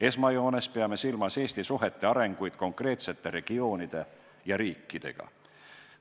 Esmajoones peame silmas Eesti arenevaid suhteid konkreetsete regioonide ja riikidega.